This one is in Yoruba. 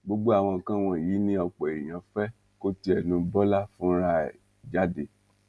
gbogbo àwọn nǹkan wọnyí ni ọpọ èèyàn fẹ kó ti ẹnu bọlá fúnra ẹ jáde